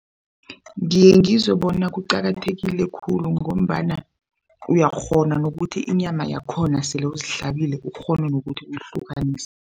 Ngiye ngizwe bona kuqakathekile khulu ngombana uyakghona nokuthi inyama yakhona sele uzihlabile ukghone nokuthi uyihlukanisa.